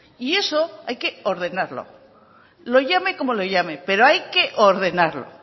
y eso hay que ordenarlo lo llame como lo llame pero hay que ordenarlo